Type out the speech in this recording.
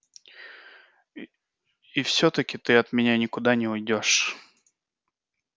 и всё-таки ты от меня никуда не уйдёшь